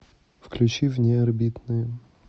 включи внеорбитные